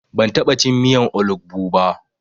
Ban taɓa cin miyan olugbu ba.